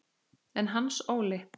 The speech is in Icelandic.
En Hans Óli?